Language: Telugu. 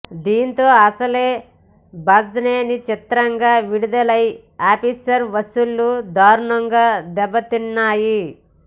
దీనితో అసలే బజ్ లేని చిత్రంగా విడుదలైన ఆఫీసర్ వసూళ్లు దారుణంగా దెబ్బ తిన్నాయి